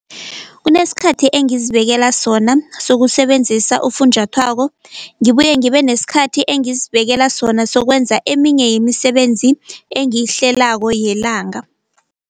Kunesikhathi engizibekela sona sokusebenzisa ufunjathwako, ngibuye ngibe nesikhathi engezibekela sona sokwenza eminye yemisebenzi engiyihlelako yelanga.